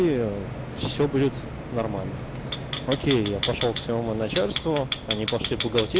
все будет нормально окей я пошёл к своему начальству они пошли